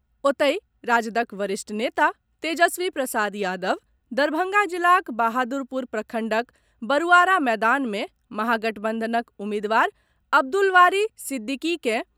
ओतहि राजदक वरिष्ठ नेता तेजस्वी प्रसाद यादव दरभंगा जिलाक बहादुरपुर प्रखंडक बरूआरा मैदान मे महागठबंधनक उम्मीदवार अब्दुलबारी सिद्दीकी के